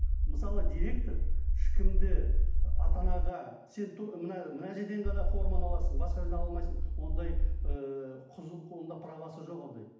мысалы директор ешкімді ата анаға сен мына мына жерден ғана форманы аласың басқа жерден ала алмайсың ондай ыыы онда правасы жоқ ондай